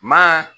Ma